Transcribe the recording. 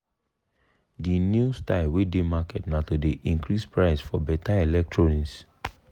de new style wey dey market na to dey increase price for better electronic.